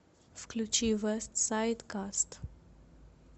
включи вестсайд каст